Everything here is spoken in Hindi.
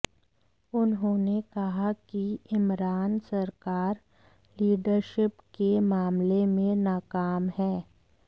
उन्होंने कहा कि इमरान सरकार लीडरशिप के मामले में नाकाम है